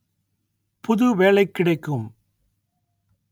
புது வேலைக் கிடைக்கும்